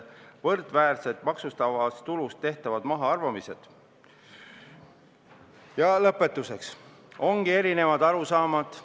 Lõpetuseks, meil ongi erinevad arusaamad.